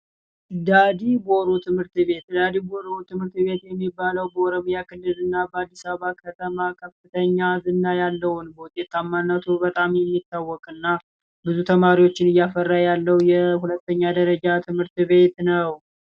ዳዲ ቦሩ ትምህርት ቤት ዳዲ ቦሩ ትምህርት ቤት የሚባለው በኦሮሚያ ክልል እና በአዲስ አበባ ከተማ ከፍተኛ ዝና ያለውን በውጤታማነቱ በጣም የሚታወቅ እና ብዙ ተማሪዎችን እያፈራ ያለው የሁለተኛ ደረጃ ትምህርት ቤት ነው።